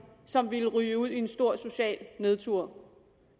som ville ryge ud i en stor social nedtur